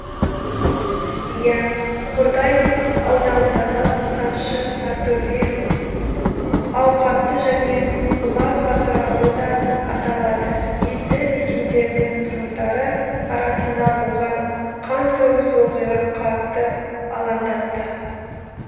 иә қордай ауданындағы масаншы сортөбе ауқатты және бұлан батыр ауылы да аталады елді мекендерінің тұрғындары арасында болған қантөгіс оқиға қатты алаңдатты